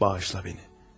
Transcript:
Bağışla məni.